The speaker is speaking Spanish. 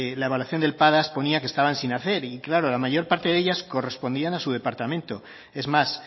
la evaluación del padas ponía que estaban sin hacer y claro la mayor parte de ellas correspondían a su departamento es más